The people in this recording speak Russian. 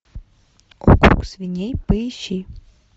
округ свиней поищи